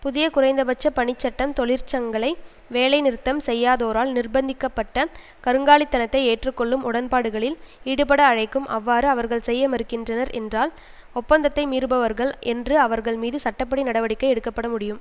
புதிய குறைந்தபட்ச பணிச் சட்டம் தொழிற்சங்களை வேலைநிறுத்தம் செய்யாதோரால் நிர்பந்திக்க பட்ட கருங்காலித்தனத்தை ஏற்றுக்கொள்ளும் உடன்பாடுகளில் ஈடுபட அழைக்கும் அவ்வாறு அவர்கள் செய்ய மறுக்கின்றனர் என்றால் ஒப்பந்தத்தை மீறுபவர்கள் என்று அவர்கள் மீது சட்ட படி நடவடிக்கை எடுக்க பட முடியும்